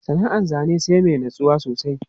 Sana'an zane sai mai natsuwa sosai.